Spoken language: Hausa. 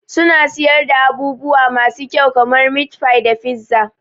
Suna siyar da abubuwa masu kyau kamar meatfie da pizza.